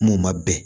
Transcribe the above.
M'o ma bɛn